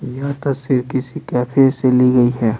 यह तस्वीर किसी कैफे से ली गई है।